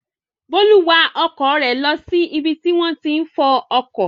Bólú wa ọkọ̀ rẹ̀ lọ sí ibi tí wọ́n ti ń fọ ọkọ̀.